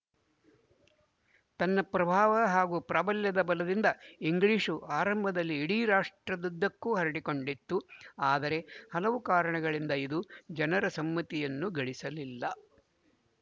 ತನ್ನ ಪ್ರಭಾವ ಹಾಗೂ ಪ್ರಾಬಲ್ಯದ ಬಲದಿಂದ ಇಂಗ್ಲಿಶು ಆರಂಭದಲ್ಲಿ ಇಡೀ ರಾಷ್ಟ್ರದುದ್ದಕ್ಕೂ ಹರಡಿಕೊಂಡಿತ್ತು ಆದರೆ ಹಲವು ಕಾರಣಗಳಿಂದ ಇದು ಜನರ ಸಮ್ಮತಿಯನ್ನು ಗಳಿಸಲಿಲ್ಲ